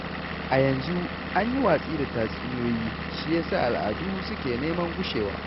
A yanzu an yi watsi da tatsuniyoyi, shi ya sa al'adu su ke neman gushewa.